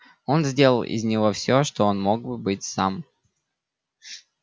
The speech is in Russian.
он сделал из него всё что он мог бы быть сам